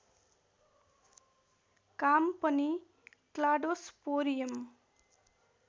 काम पनि क्लाडोस्पोरियम